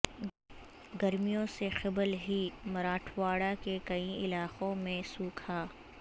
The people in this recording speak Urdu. گرمیوں سے قبل ہی مراٹھواڑہ کے کئی علاقوں میں سوکھا